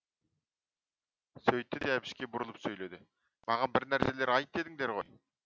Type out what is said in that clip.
сөйтті де әбішке бұрылып сөйледі маған бір нәрселер айт дедіңдер ғой